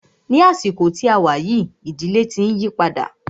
Ní àsìkò tí a wá yìí, ìdílé tí ń yípadà.